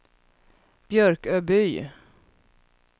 Björköby